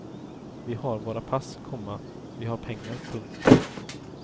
Vi har våra pass, komma vi har pengar. punkt